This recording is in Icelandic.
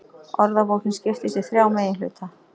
Orðabókin skiptist í þrjá meginhluta.